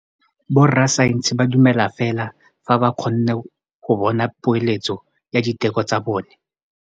Borra saense ba dumela fela fa ba kgonne go bona poeletsô ya diteko tsa bone.